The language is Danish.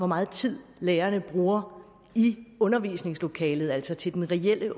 meget tid lærerne bruger i undervisningslokalet altså til den reelle